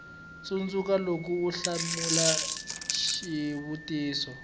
tsundzuka loko u hlamula xivutiso